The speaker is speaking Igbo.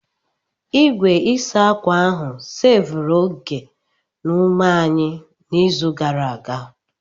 Igwe ịsa ákwà ahụ seevuru oge na ume anyị n'izu gara aga.